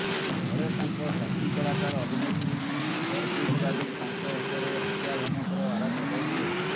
ଥରେ ତାଙ୍କ ସାଥୀ କଳାକାର ଅଭିନେତ୍ରୀ ପରବୀନ ବାବି ତାଙ୍କ ଉପରେ ହତ୍ୟା ଧମକର ଆରୋପ ଲଗାଇଥିଲେ